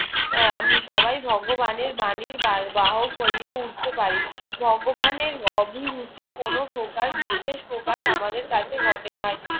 আহ সবাই ভগবানের বাণীর বাহক হইয়া উঠতে পারি ভগবানের অভিরুচির কোনো প্রকার বিশেষ প্রকার আমাদের কাছে ঘটেনাই